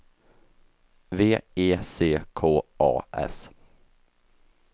V E C K A S